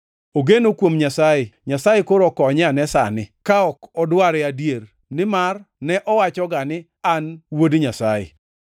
Ogeno kuom Nyasaye; Nyasaye koro okonye ane sani ka odware adier, nimar ne owachoga ni, ‘An Wuod Nyasaye,’ ”